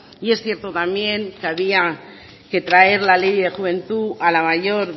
y es cierto también que había que traer la ley de juventud a la mayor